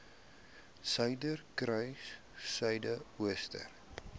suiderkruissuidooster